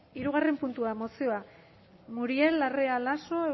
hirugarren puntua mozioa muriel larrea laso